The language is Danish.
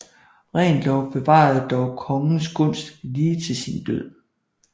Reventlow bevarede dog kongens gunst lige til sin død